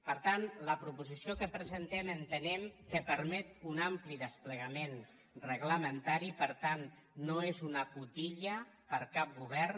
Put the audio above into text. per tant la proposició que presentem entenem que permet un ampli desplegament reglamentari per tant no és una cotilla per a cap govern